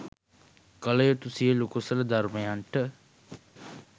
කළ යුතු සියලු කුසල ධර්මයන්ට